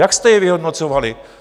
Jak jste je vyhodnocovali?